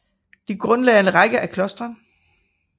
De grundlagde en række af klostre